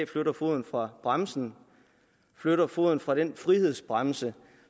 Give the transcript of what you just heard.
flytter foden fra bremsen flytter foden fra den frihedsbremse